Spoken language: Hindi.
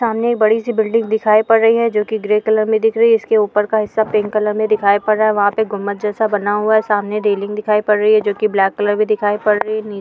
सामने ये बड़ी सी बिल्डिंग दिखाई पड़ रही है जोकि ग्रे कलर में दिख रही है इसके ऊपर का हिस्सा पिंक कलर में दिखाई पड़ रह है। वहा पे गुम्बज जैसा बना हुआ है | सामने रेलिंग दिखाई पड़ रही है जोकि ब्लैक कलर भी दिखाई पड़ रही है।